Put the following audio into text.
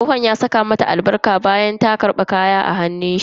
Tsohon ya saka mata albarka bayan ta karbi kaya daga hannun shi.